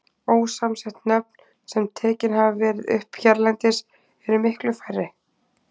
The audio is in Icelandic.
Ósamsett nöfn, sem tekin hafa verið upp hérlendis, eru miklu færri.